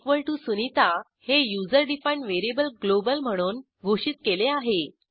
usernamesunita हे user defined variable global म्हणून घोषित केले आहे